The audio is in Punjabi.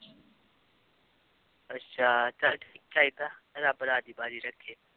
ਅੱਛਾ ਚੱਲ ਠੀਕ ਚਾਹੀਦਾ ਰੱਬ ਰਾਜੀ ਬਾਜੀ ਰੱਖੇ।